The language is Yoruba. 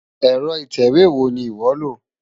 Ẹ̀rọ ìtẹ̀wé wo ni ìwọ́ lò?